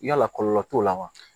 Yala kɔlɔlɔ t'o la wa